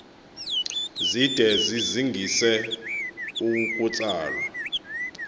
zide zizingise ukutsalwa